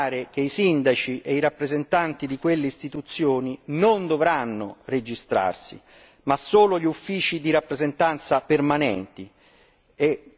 Vorrei precisare che sindaci e i rappresentanti di quelle istituzioni non dovranno registrarsi, mentre dovranno farlo gli uffici di rappresentanza permanenti.